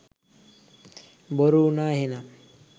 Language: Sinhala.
බොරු වුණා එහෙනම්